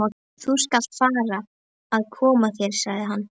Þú skalt fara að koma þér, sagði hann.